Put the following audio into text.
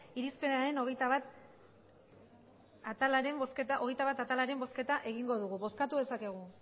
irizpenaren hogeita bat atalaren bozketa egingo dugu bozkatu dezakegu